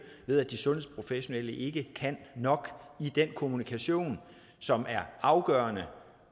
ved at de sundhedsprofessionelle ikke kan nok i den kommunikation som er afgørende